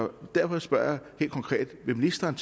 derfor spørger jeg helt konkret vil ministeren